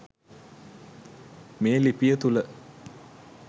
මේ ලිපිය තුළ